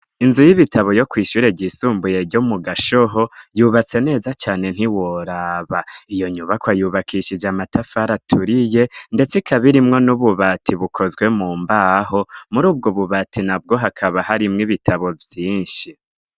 Inzu y'ibitabo yo kw'ishure ryisumbuye yo mu Gashoho yubatse neza cane ntiworaba, iyo nyubakwa yubakishije amatafari aturiye ndetse ikaba irimwo n'ububati bukozwe mu mbaho, muri ubwo bubati nabwo hakaba harimwo ibitabo vyinshi.